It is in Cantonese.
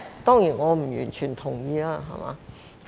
當然，我不完全同意。